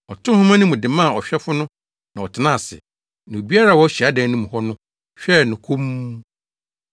Ɔtoo nhoma no mu de maa ɔhwɛfo no na ɔtenaa ase; na obiara a ɔwɔ hyiadan no mu hɔ no hwɛɛ no komm.